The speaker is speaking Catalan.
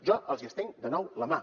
jo els hi estenc de nou la mà